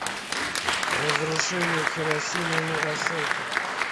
разрушение хиросимы и нагасаки